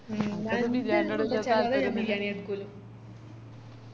ഞാൻ എന്ത് കൊണ്ടച്ചാലും ഞാൻ ബിരിയാണിയ എടുക്കു